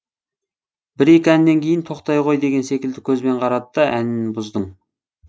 бір екі әннен кейін тоқтай ғой деген секілді көзбен қарады да әнін бұздың